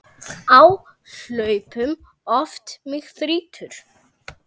Á hlaupum oft mig þrýtur.